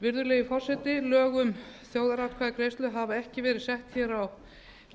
virðulegi forseti lög um þjóðaratkvæðagreiðslur hafa ekki verið sett hér á